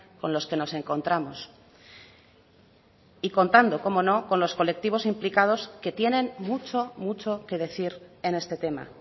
con los que nos encontramos y contando cómo no con los colectivos implicados que tienen mucho mucho que decir en este tema